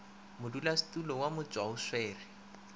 modulasetulo wa motšwa o swere